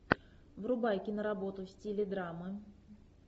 врубай киноработу в стиле драмы